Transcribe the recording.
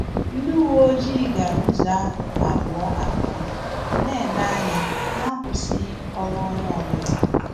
Ndị uwe ojii gara ụzọ ahụ abụọ abụọ, na-ele anya na-akwụsịghị ọrụ onye ọ bụla